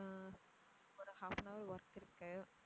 ஆஹ் ஒரு half an hour work இருக்கு.